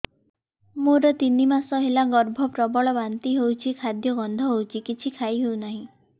ମୋର ତିନି ମାସ ହେଲା ଗର୍ଭ ପ୍ରବଳ ବାନ୍ତି ହଉଚି ଖାଦ୍ୟ ଗନ୍ଧ ହଉଚି କିଛି ଖାଇ ହଉନାହିଁ